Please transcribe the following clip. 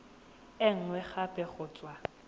e nngwe gape go tswa